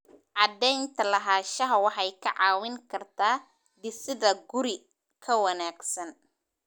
Cadaynta lahaanshaha waxay kaa caawin kartaa dhisidda guri ka wanaagsan.